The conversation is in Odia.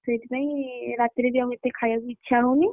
ସେଇଥି ପାଇଁ ରାତିରେ ଏତେ ଖାୟାକୁ ଇଚ୍ଛା ହଉନି।